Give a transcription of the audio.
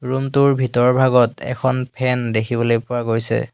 Room টোৰ ভিতৰভাগত এখন ফেন দেখিবলৈ পোৱা গৈছে।